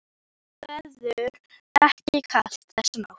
Og verður ekki kalt þessa nótt.